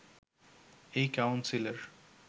এই কাউন্সিলের